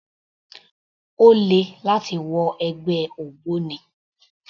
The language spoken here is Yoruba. Ó le láti wọ ẹgbẹ́ ògbóni